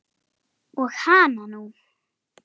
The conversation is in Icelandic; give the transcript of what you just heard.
Og hananú!